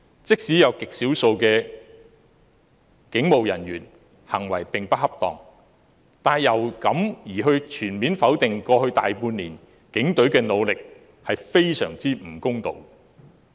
即使有極少數的警務人員行為不恰當，但因此便全面否定過去大半年警隊的努力，是非常不公道。